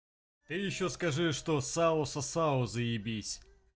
ты ещё скажи что сало сосало заебись